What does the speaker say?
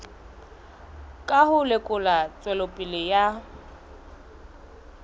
ka ho lekola tswelopele ya